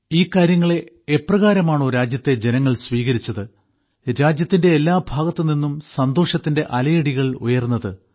ഈ കാര്യങ്ങളെ എപ്രകാരമാണോ രാജ്യത്തെ ജനങ്ങൾ സ്വീകരിച്ചത് രാജ്യത്തിന്റെ എല്ലാ ഭാഗത്തുനിന്നും സന്തോഷത്തിന്റെ അലയടികൾ ഉയർന്നത്